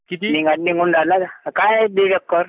काय दीड एकर.